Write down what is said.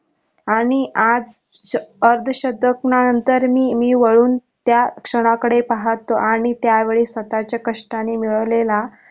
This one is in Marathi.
आणि आज अर्ध शतकानंतर मी मी वळून त्या क्षणाकडे पाहतो आणि त्या वेळी स्वतःच्या कष्टाने मिळवलेला.